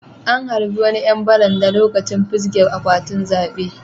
An harba wani yan baranda lokacin fisge akwatin zabe.